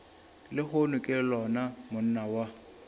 lehono ke lona monna wa